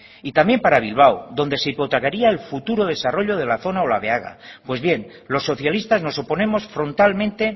y también para bilbao donde se hipotecaría el futuro desarrollo de la zona olabeaga pues bien los socialistas nos oponemos frontalmente